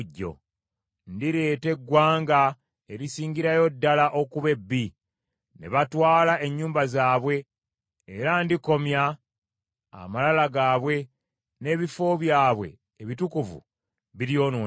Ndireeta eggwanga erisingirayo ddala okuba ebbi, ne batwala ennyumba zaabwe, era ndikomya amalala gaabwe n’ebifo byabwe ebitukuvu biryonoonebwa.